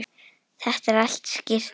Þetta er allt skýrt núna.